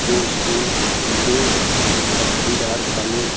दो स्टूल पीले पट्टीदार काले--